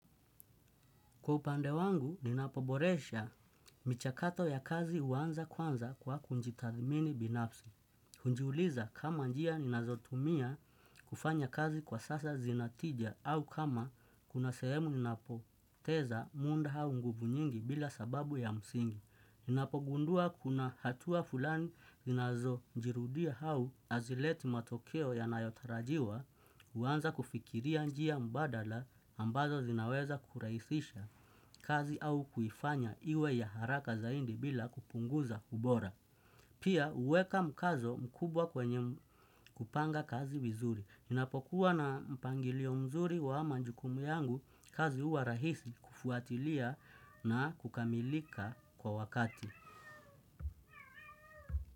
Kwa upande wangu, ninapoboresha michakato ya kazi huanza kwanza kwa kujitathimini binafsi. Hujiuliza kama njia ninazotumia kufanya kazi kwa sasa zina tija au kama kuna sehemu ninapoteza muda au nguvu nyingi bila sababu ya msingi. Ninapogundua kuna hatua fulani ninazojirudia au hazileti matokeo yanayotarajiwa, huanza kufikiria njia mbadala ambazo zinaweza kurahisisha. Kazi au kuifanya iwe ya haraka zaidi bila kupunguza ubora. Pia huweka mkazo mkubwa kwenye kupanga kazi vizuri. Ninapokuwa na mpangilio mzuri wa majukumu yangu kazi huwa rahisi kufuatilia na kukamilika kwa wakati.